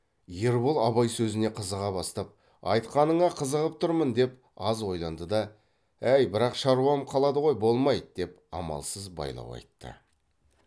ербол абай сөзіне қызыға бастап айтқаныңа қызығып тұрмын деп аз ойланды да ә әй бірақ шаруам қалады ғой болмайды деп амалсыз байлау айтты